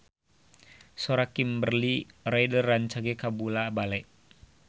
Sora Kimberly Ryder rancage kabula-bale